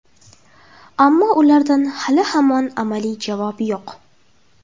Ammo ulardan hali-hamon amaliy javob yo‘q.